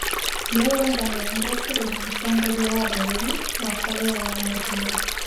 Mirurungano ya gukirira mutongoria wa bururi wa Korea ya Muhuro.